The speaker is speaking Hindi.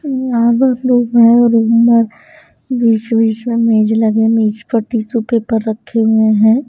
बीच बीच में मेज लगे मेज पर टिश्यू पेपर रखे हुए हैं।